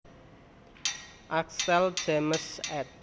Axtell James ed